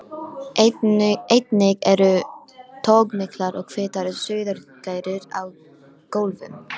Einnig eru togmiklar og hvítar sauðargærur á gólfum.